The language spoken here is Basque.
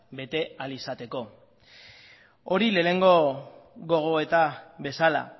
bete ahal izateko hori lehenengo gogoeta bezala